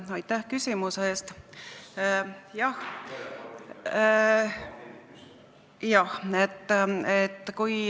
Aitäh küsimuse eest!